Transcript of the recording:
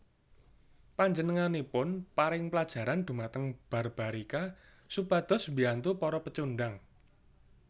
Panjenenganipun paring plajaran dhumateng Barbarika supados biyantu para pecundang